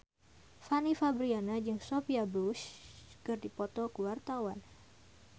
Fanny Fabriana jeung Sophia Bush keur dipoto ku wartawan